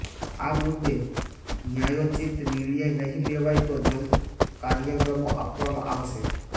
આ મુદ્દે ન્યાયોચિત નિર્ણય નહીં લેવાય તો જલદ કાર્યક્રમો આપવામા આવશે